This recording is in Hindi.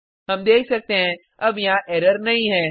हम देख सकते हैं अब यहाँ एरर नहीं है